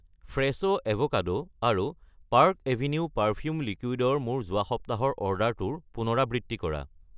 ফ্ৰেছো avocado আৰু Park Avenue perfume liquid ৰ মোৰ যোৱা সপ্তাহৰ অৰ্ডাৰটোৰ পুনৰাবৃত্তি কৰা।